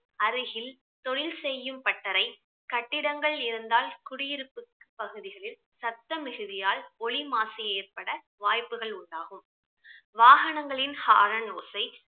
அருகில் தொழில் செய்யும் பட்டறை கட்டிடங்கள் இருந்தால் குடியிருப்பு பகுதிகளில் சத்தம் மிகுதியால் ஒலி மாசு ஏற்பட வாய்ப்புகள் உண்டாகும் வாகனங்களின் horn ஓசை